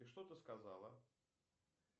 и что ты сказала